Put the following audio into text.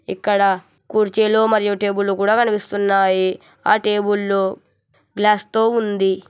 ఇక్కడ కుర్చీలు మరియు టేబుల్ లు కూడా కనిపిస్తున్నాయి ఆ టేబుళ్లు గ్లాస్ తో ఉంది.